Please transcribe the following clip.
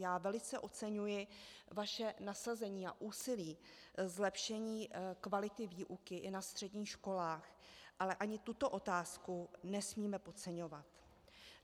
Já velice oceňuji vaše nasazení a úsilí, zlepšení kvality výuky i na středních školách, ale ani tuto otázku nesmíme podceňovat.